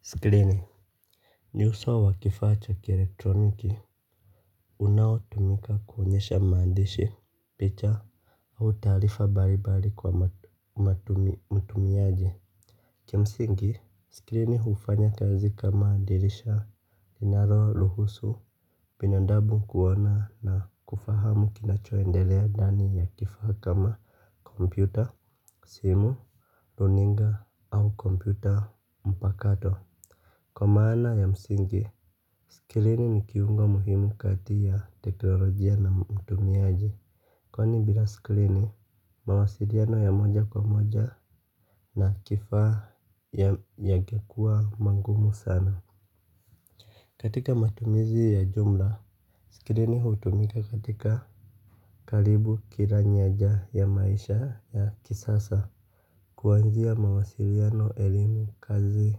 Skrini. Ni uso wa kifaa cha ki-elektroniki. Unaotumika kuonyesha maandishi, picha au taarifa mbali mbali kwa mtumiaji. Ki msingi, skrini hufanya kazi kama dirisha linalo ruhusu binandamu kuona na kufahamu kinachoendelea ndani ya kifaa kama kopmyuta simu, runinga, au kompyuta mpakato. Kwa maana ya msingi skrini ni kiungo muhimu kati ya teknolojia na mtumiaji. Kwani bila skrini, mawasiliano ya moja kwa moja na kifaa yangekuwa mangumu sana. Katika matumizi ya jumla, skrini hutumika katika karibu kila nyaja ya maisha ya kisasa. Kuanzia mawasiliano elimu kazi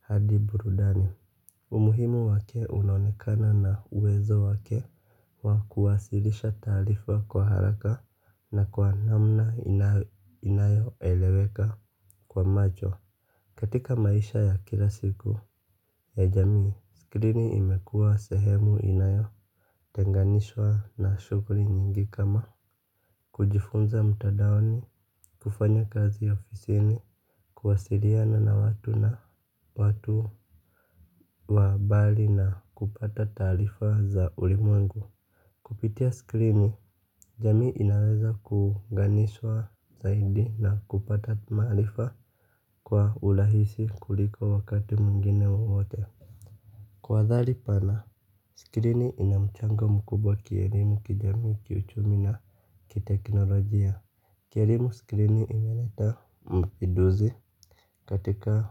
hadi burudani. Umuhimu wake unaonekana na uwezo wake wa kuwasilisha taarifa kwa haraka na kwa namna inayo eleweka kwa macho. Katika maisha ya kila siku ya jamii, skrini imekuwa sehemu inayo, tenganishwa na shughuli nyingi kama. Kujifunza mtandaoni, kufanya kazi ya ofisini, kuwasiliana na watu wa mbali na kupata taarifa za ulimwengu. Kupitia skrini, jamii inaweza kuunganishwa zaidi na kupata maarifa kwa urahisi kuliko wakati mwingine wowote. Kwa adhari pana, skrini ina mchango mkubwa kielimu kijamii kiuchumi na kiteknolojia. Ki elimu skrini imeleta mapinduzi katika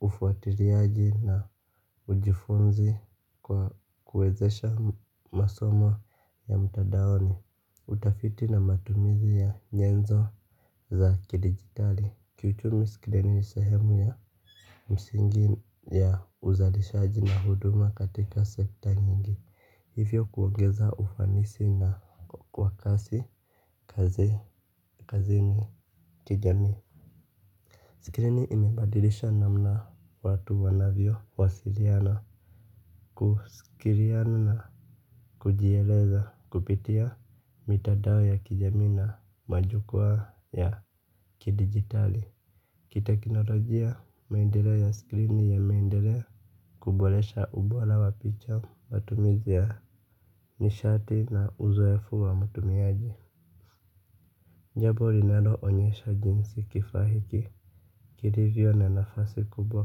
ufuatiliaji na ujifunzi kwa kuwezesha masomo ya mtandaoni. Utafiti na matumizi ya nyenzo za kidigitali. Kiuchumi skrini ni sehemu ya msingi ya uzalishaji na huduma katika sekta nyingi. Hivyo kuongeza ufanisi wa kasi kazini kijamii. Skrini imebadilisha namna watu wanavyo wasiliana. Kusikizana na kujieleza kupitia mitandao ya kijamii na majukwaa ya kidigitali. Kitekinolojia maendeleo ya skrini yanaendelea kuboresha ubora wa picha matumizi ya nishati na uzoefu wa mtumiaji jambo linalo onyesha jinsi kifaa hiki kilivyo na nafasi kubwa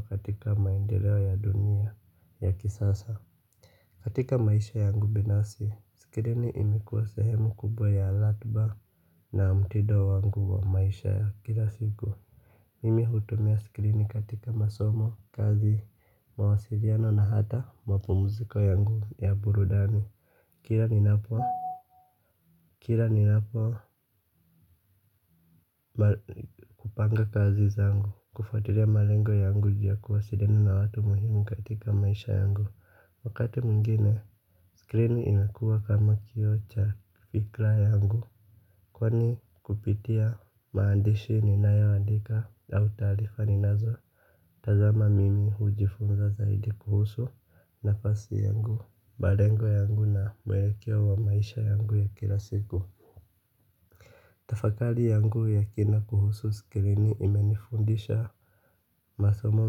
katika maendeleo ya dunia ya kisasa. Katika maisha yangu binafsi, skirini imekuwa sehemu kubwa ya ratiba na mtindo wangu wa maisha ya kila siku. Mimi hutumia skirini katika masomo, kazi, mawasiliano na hata mapumziko yangu ya burundani. Kila ninapo kila ninapo kupanga kazi zangu kufuatulia malengo yangu ya kuwasiliana na watu muhimu katika maisha yangu. Wakati mwingine, skrini inakuwa kama kioo cha fikra yangu. Kwani kupitia maandishi ninayoandika au taarifa ninazo tazama mimi hujifunza zaidi kuhusu nafasi yangu. Malengo yangu na mwelekeo wa maisha yangu ya kila siku. Tafakari yangu ya kina kuhusu skrini imenifundisha masomo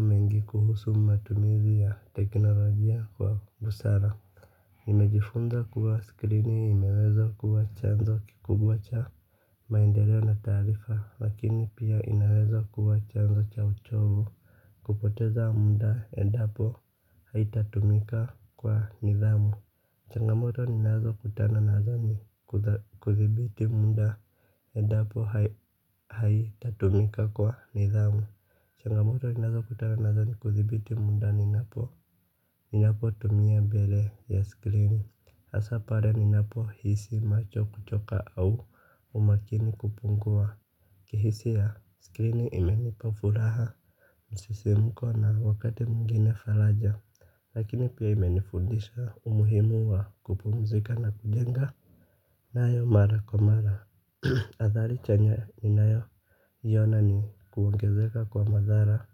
mengi kuhusu matumizi ya teknolojia kwa busara nimejifunza kuwa skrini inaweza kuwa chanzo kikubwa cha maendeleo na taarifa. Lakini pia inaweza kuwa chanzo cha uchovu. Kupoteza muda endapo haitatumika kwa nidhamu. Changamoto ninazo kutana nazo ni kudhibiti muda endapo haitatumika kwa nidhamu. Changamoto ninazo kutana nazo ni kudhibiti muda ninapo ninapo tumia mbele ya skrini hasa pale ninapohisi macho kuchoka au umakini kupungua. Ki hisia skrini imenipa furaha msisimko na wakati mwingine faraja. Lakini pia imenifundisha umuhimu wa kupumzika na kujenga nayo mara kwa mara. Adhari chanya ninayo iona ni kuongezeka kwa madhara.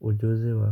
Ujuzi wa.